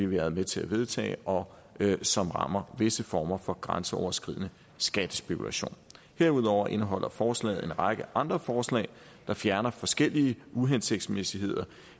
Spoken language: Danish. været med til at vedtage og som rammer visse former for grænseoverskridende skattespekulation herudover indeholder forslaget en række andre forslag der fjerner forskellige uhensigtsmæssigheder